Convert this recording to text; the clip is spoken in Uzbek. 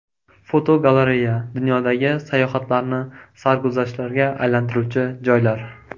Fotogalereya: Dunyodagi sayohatlarni sarguzashtlarga aylantiruvchi joylar.